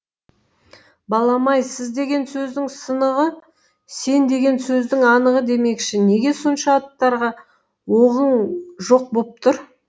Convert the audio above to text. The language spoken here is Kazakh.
балам ай сіз деген сөздің сынығы сен деген сөздің анығы демекші неге сонша аттарға оғың жоқ боп тұр